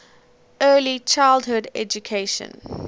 early childhood education